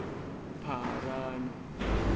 pharanu